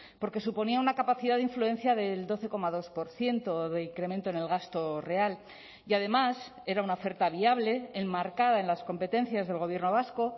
porque suponía una capacidad de influencia del doce coma dos por ciento de incremento en el gasto real y además era una oferta viable enmarcada en las competencias del gobierno vasco